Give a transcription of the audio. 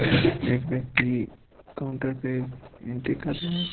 एक व्यक्ति काउंटर पे एंट्री कर रहा है।